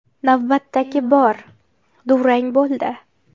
Navbatdagi bor durang bo‘ldi.